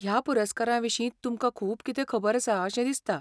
ह्या पुरस्कारा विशीं तुमकां खूब कितें खबर आसा अशें दिसता.